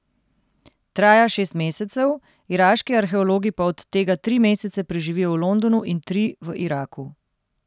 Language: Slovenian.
Traja šest mesecev, iraški arheologi pa od tega tri mesece preživijo v Londonu in tri v Iraku.